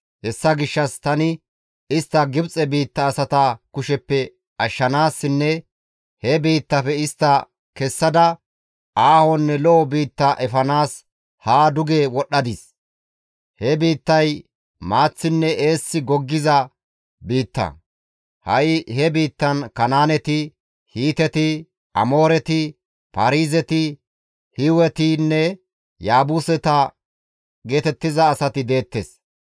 Hessa gishshas tani istta Gibxe biitta asata kusheppe ashshanaasinne he biittafe istta kessada, aahonne lo7o biitta efanaas haa duge wodhdhadis. He biittay maaththinne eessi goggiza biitta; ha7i he biittan Kanaaneti, Hiiteti, Amooreti, Paarizeti, Hiiwetinne Yaabuseta geetettiza asati deettes.